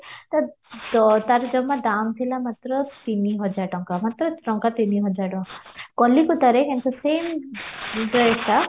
ତା ଦା ତାର ଜମା ଦାମ ଥିଲା ମାତ୍ର ତିନିହାଜର ଟଙ୍କା ମାତ୍ର ଟଙ୍କା ତିନି ହଜାର ଟଙ୍କା କଲିକତାରେ କିନ୍ତୁ same ଡ୍ରେସଟା